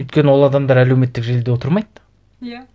өйткені ол адамдар әлеуметтік желіде отырмайды иә